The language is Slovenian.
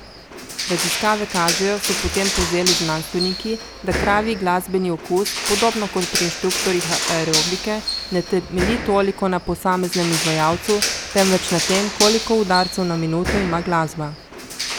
Raziskave kažejo, so potem povzeli znanstveniki, da kravji glasbeni okus, podobno kot pri inštruktorjih aerobike, ne temelji toliko na posameznem izvajalcu, temveč na tem, koliko udarcev na minuto ima glasba.